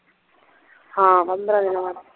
ਹਾਂ ਪੰਦਰਾਂ ਦੀਨਾ ਬਾਅਦ